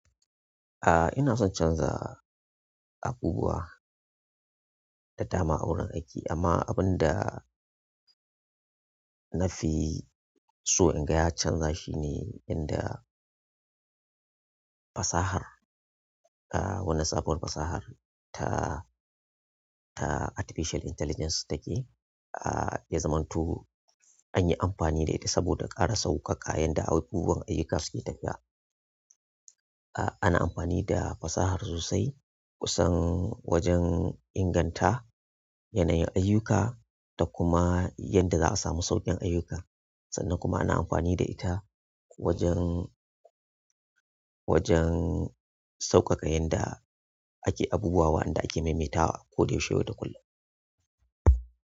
A'a ina son canza abubuwa da dama a wurin aiki amma abun da na fi so in ga ya canza shine inda fasahar, ah wannan sabuwar fasahar ta, ta artificial intelligence take ah ya zamanto an yi amfani da ita saboda ƙara sauƙaƙa yanda abubuwa ayyuka suke tafiya. Ah ana amfani da fasahar sosai kusan wajen inganta yanayin ayyuka da kuma yadda za a samu sauƙin ayyuka sannan kuma ana amfani da ita wajen, wajen sauƙaƙa yanda ake abubuwa wa anda ake maimaita wa koda yaushe yau da kullum.